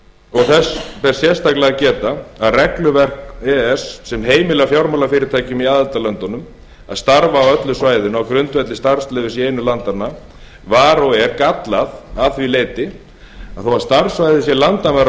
og þess ber sérstaklega að geta að regluverk e e s sem heimilar fjármálafyrirtækjum í aðildarlöndunum að starfa á öllu svæðinu á grundvelli starfsleyfis í einu landanna var og er gallað að því leyti að þó starfssvæðið sé landamæralaust innan